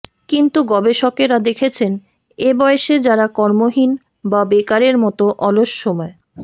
কিন্তু গবেষকরা দেখেছেন এ বয়সে যারা কর্মহীন বা বেকারের মতো অলস সময়